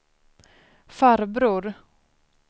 farbror